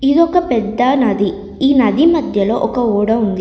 ఇదొక పెద్ద నది. ఈ నది మధ్యలో ఒక ఓడ ఉంది.